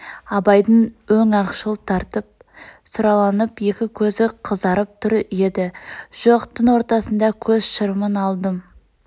абайдың өң ақшыл тартып сұрланып екі көзі қызарып тұр еді жоқ түн ортасында көз шырымын алдым